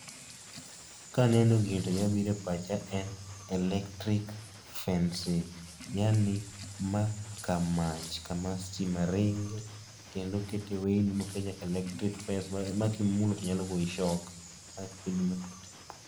Kaneno gini to gima biro e pacha en electric fencing yaani ma kar mach kama stima ringe mokete weyni ma kimulo to nyalo goyi shock